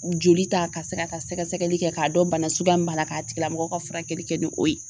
Joli ta ka se k'a ka sɛgɛsɛgɛli kɛ k'a dɔn bana suguya min b'a la k'a tigilamɔgɔ ka furakɛli kɛ ni o ye.